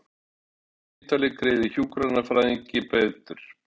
Landspítali greiði hjúkrunarfræðingi bætur